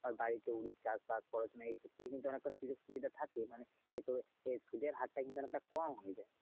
বাড়িতে উল চাষবাস বা পড়াশোনা এ ক্ষেত্রে অনেকটা সুযোগ সুবিধা থাকে মানে সুধের হারটা কিন্তু অনেকটা কম হয়ে যায়।